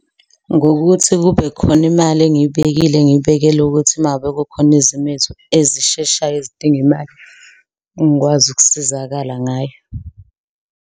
Ngokuthi kube khona imali engiyibekile ngiyibekele ukuthi uma ngabe kukhona izimo ezisheshayo ezidinga imali ngikwazi ukusizakala ngayo.